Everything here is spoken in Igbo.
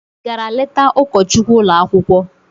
Ị gara leta ụkọchukwu ụlọ akwụkwọ?